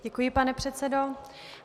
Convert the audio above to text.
Děkuji, pane předsedo.